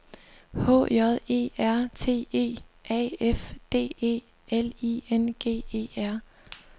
H J E R T E A F D E L I N G E R